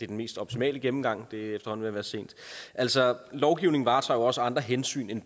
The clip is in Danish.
den mest optimale gennemgang det er efterhånden ved at være sent altså lovgivningen varetager jo også andre hensyn end